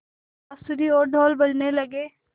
बाँसुरी और ढ़ोल बजने लगे